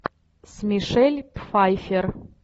с мишель пфайффер